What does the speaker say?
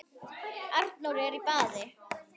Arnór er í baði